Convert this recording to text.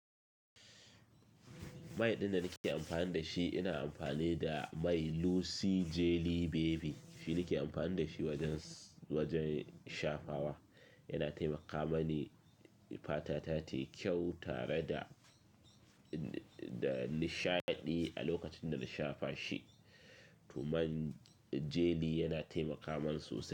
Mai ɗin da nake amfani da shi, ina amfani da mai Lucy Jelly Baby. Shi ne nake amfani da shi wajen, wajen shafawa. Yana taimakawa mani fata ta tayi kyau tare da, da nishaɗi a lokacin da na shafa shi. To man jelly yana taimakawa man sosai.